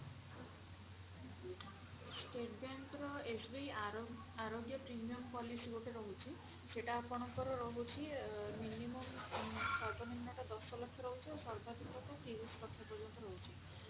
state bank ର SBI ଆରୋ Arogya premium policy ଗୋଟେ ରହୁଛି ସେଟା ଆପଣଙ୍କର ରହୁଛି minimum ସର୍ବନିମ୍ନ ଟା ଦଶ ଲକ୍ଷ ରହୁଛି ଆଉ ସର୍ବାଧିକ ତିରିଶି ଲକ୍ଷ ପର୍ଯ୍ୟନ୍ତ ରହୁଛି